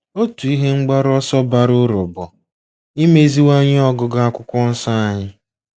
Otu ihe mgbaru ọsọ bara uru bụ imeziwanye ọgụgụ Akwụkwọ Nsọ anyị.